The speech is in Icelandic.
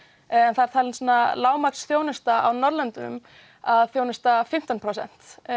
það er talin lágmarksþjónusta á Norðurlöndunum að þjónusta fimmtán prósent